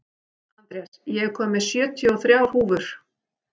Andrés, ég kom með sjötíu og þrjár húfur!